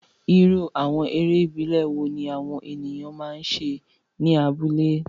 Irú àwọn eré ìbílẹ̀ wo ni àwọn ènìyàn máa ń ṣe ní abúlé?